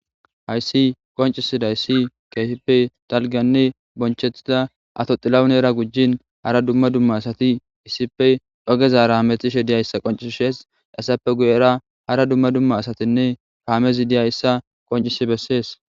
Haysi qoncidaysi keehippe dalganne bonchetida Ato xilahunera gujin hara dumma dumma asati issippe ogezara hamutishe dizaysa qoncisishes, hesappe guyera hara dumma dumma asatinne kamezi dizaysa qoncis besesi.